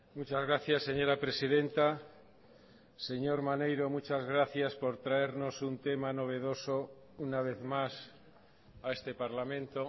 muchas gracias señora presidenta señor maneiro muchas gracias por traernos un tema novedoso una vez más a este parlamento